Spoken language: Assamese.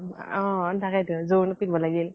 অম অ তাকেইতো। জোৰোনত পিন্ধিব লাগিল